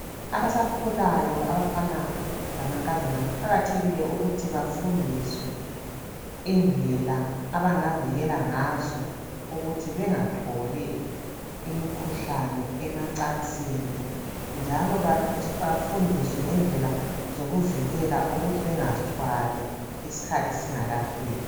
Abasakhulayo abafana lamankazana kuqakathekile ukuthi bafundiswe indlela abangavikela ngazo ukuthi bengatholi imikhuhlane emacansini njalo bafundiswe ngendlela zokuvikela ukuthi bengazithwali isikhathi singakafiki.